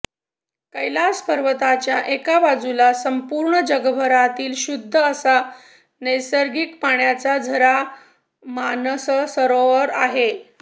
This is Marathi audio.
कैलास पर्वताच्या एका बाजूला संपूर्ण जगभरातील शुद्ध असा नैसर्गिक पाण्याचा झरा मानससरोवर आहे